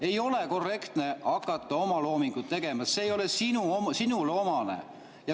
Ei ole korrektne hakata omaloomingut tegema, see ei ole sinule omane.